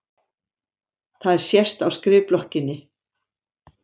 Það sést á skrifblokkinni.